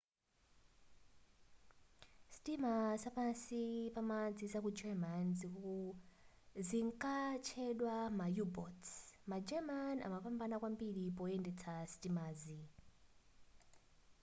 sitima za pansi pamadzi zaku german zinkatchedwa ma u-boats ma german anapambana kwambiri poyendetsa sitimazi